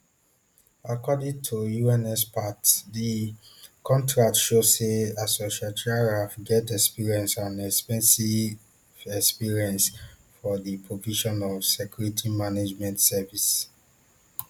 according to un experts di contract show say asociatia ralf get expertise and ex ten sive experience for di provision of security management services